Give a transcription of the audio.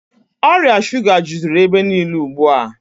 Ọrịa shuga jụziri ebe niile ugbu a.